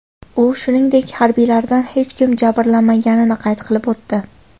U, shuningdek, harbiylardan hech kim jabrlanmaganini qayd qilib o‘tdi.